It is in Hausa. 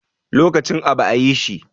Lokacin abu a yi shi